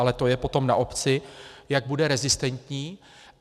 Ale to je potom na obci, jak bude rezistentní.